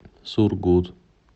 сургут